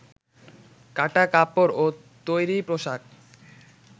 কাটা কাপড় ও তৈরি পোশাক